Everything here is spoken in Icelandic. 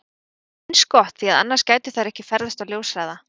Það er líka eins gott því að annars gætu þær ekki ferðast á ljóshraða!